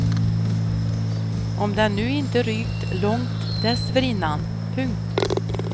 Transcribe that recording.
Om den nu inte rykt långt dessförinnan. punkt